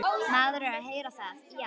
Maður er að heyra það, já.